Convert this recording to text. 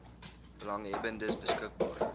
belanghebbendes beskik baar